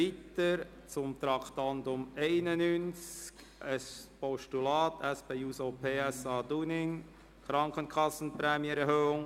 Wir kommen zum Traktandum 91, einem Postulat der SP-JUSO-PSA-Fraktion, Dunning, «Krankenkassenprämienerhöhung: